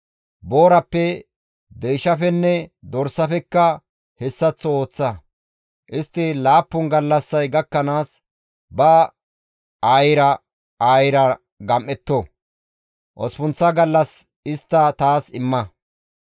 Boorappe, deyshafenne dorsafekka hessaththo ooththa. Istti laappun gallassay gakkanaas, ba aayira aayira gam7etto; osppunththa gallas istta taas imma.